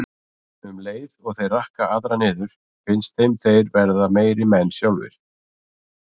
Um leið og þeir rakka aðra niður finnst þeim þeir verða meiri menn sjálfir.